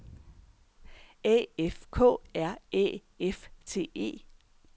A F K R Æ F T E